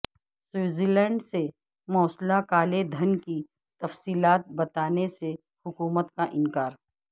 Switzerland سے موصولہ کالے دھن کی تفصیلات بتانے سے حکومت کاانکار